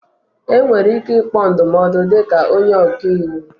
Enwere ike ịkpọ ndụmọdụ dịka onye ọka iwu